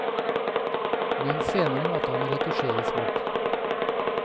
Men senere måtte han retusjeres bort.